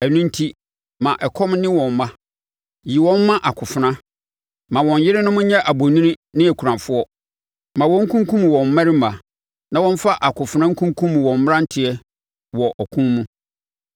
Ɛno enti, ma ɛkɔm nne wɔn mma; yi wɔn ma akofena. Ma wɔn yerenom nyɛ abonini ne akunafoɔ; ma wɔnkunkum wɔn mmarima na wɔmfa akofena nkunkum wɔn mmeranteɛ wɔ ɔko mu.